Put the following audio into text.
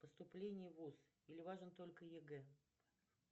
поступление в вуз или важен только егэ